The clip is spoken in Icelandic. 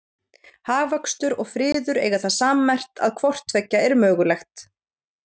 Hagvöxtur og friður eiga það sammerkt að hvort tveggja er mögulegt.